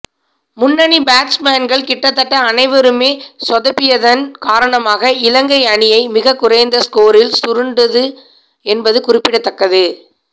முன்னணி பேட்ஸ்மேன்கள் கிட்டத்தட்ட அனைவருமே சொதப்பியதன் காரணமாக இலங்கை அணியை மிகக் குறைந்த ஸ்கோரில் சுருண்டது என்பது குறிப்பிடத்தக்கது